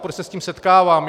Proč se s tím setkávám?